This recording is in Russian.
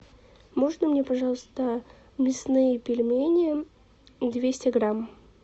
можно мне пожалуйста мясные пельмени двести грамм